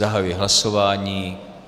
Zahajuji hlasování.